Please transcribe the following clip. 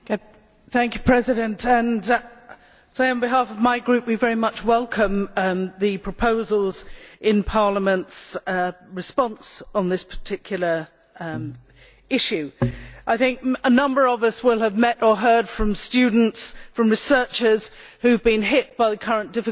Mr President, I should like to say on behalf of my group that we very much welcome the proposals in Parliament's response on this particular issue. I think a number of us will have met or heard from students, from researchers, who have been hit by the current difficulties,